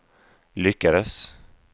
lyckades